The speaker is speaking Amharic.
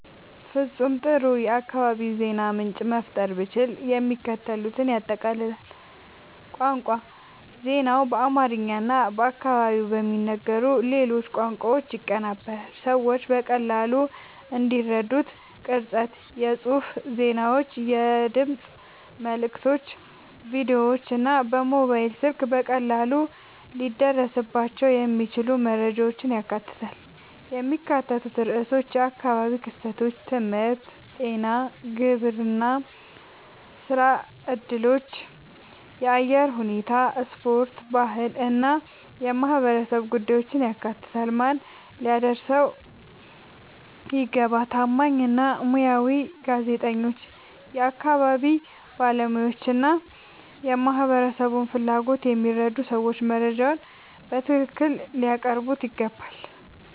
ፍጹም ጥሩ የአካባቢ የዜና ምንጭ መፍጠር ብችል፣ የሚከተሉትን ያጠቃልላል፦ ቋንቋ ዜናው በአማርኛ እና በአካባቢው በሚነገሩ ሌሎች ቋንቋዎች ይቀርባል፣ ሰዎች በቀላሉ እንዲረዱት። ቅርጸት የጽሑፍ ዜናዎች፣ የድምፅ መልዕክቶች፣ ቪዲዮዎች እና በሞባይል ስልክ በቀላሉ ሊደረስባቸው የሚችሉ መረጃዎችን ያካትታል። የሚካተቱ ርዕሶች የአካባቢ ክስተቶች፣ ትምህርት፣ ጤና፣ ግብርና፣ ሥራ እድሎች፣ የአየር ሁኔታ፣ ስፖርት፣ ባህል እና የማህበረሰብ ጉዳዮችን ያካትታል። ማን ሊያደርሰው ይገባ? ታማኝ እና ሙያዊ ጋዜጠኞች፣ የአካባቢ ባለሙያዎች እና የማህበረሰቡን ፍላጎት የሚረዱ ሰዎች መረጃውን በትክክል ሊያቀርቡት ይገባል።